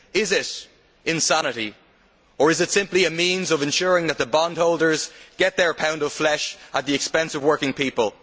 Is it insanity or is it simply a means of ensuring that the bondholders get their pound of flesh at the expense of working people?